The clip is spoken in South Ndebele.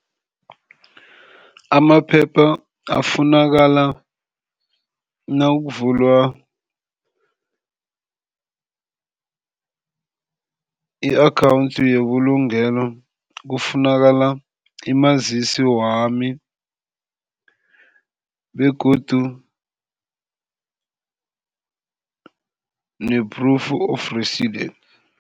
Amaphepha afunakala nakuvulwa i-akhawundi yebulungelo kufunakala imazisi wami begodu ne-proof of residence.